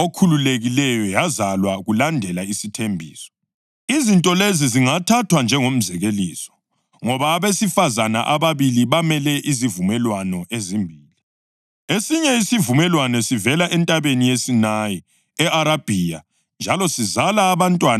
Izinto lezi zingathathwa njengomzekeliso; ngoba abesifazane ababili bamele izivumelwano ezimbili. Esinye isivumelwano sivela eNtabeni yeSinayi e-Arabhiya njalo sizala abantwana abazakuba yizigqili: Lo nguHagari.